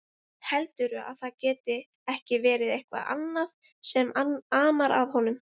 Heldurðu að það geti ekki verið eitthvað annað sem amar að honum?